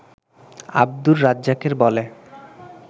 আব্দুর রাজ্জাকের বলে